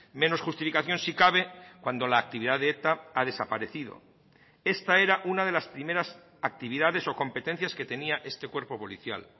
menos justificación si cabe cuando la actividad de eta ha desaparecido esta era una de las primeras actividades o competencias que tenía este cuerpo policial